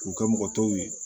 K'u kɛ mɔgɔ tɔw ye